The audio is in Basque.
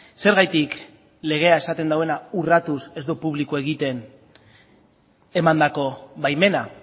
zergatik legea esaten duena urratuz ez du publiko egiten emandako baimena